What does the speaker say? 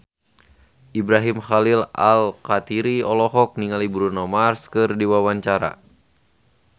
Ibrahim Khalil Alkatiri olohok ningali Bruno Mars keur diwawancara